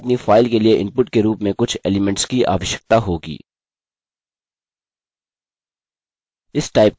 हमें अपनी फाइल के लिए इनपुट के रूप में कुछ एलीमेंट्स की आवश्यकता होगी